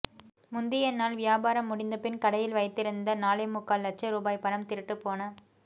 முந்திய நாள் வியாபாரம் முடிந்தபின் கடையில் வைத்திருந்த நாலேமுக்கால் லட்ச ரூபாய் பணம் திருட்டுப்போன